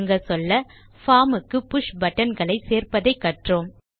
சுருங்கச்சொல்ல பார்ம் க்கு push button களை சேர்ப்பதை கற்றோம்